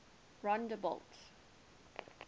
rondebult